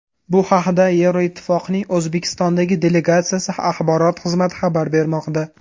Bu haqda Yevroittifoqning O‘zbekistondagi delegatsiyasi axborot xizmati xabar bermoqda.